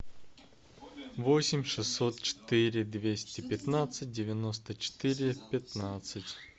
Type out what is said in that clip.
восемь шестьсот четыре двести пятнадцать девяносто четыре пятнадцать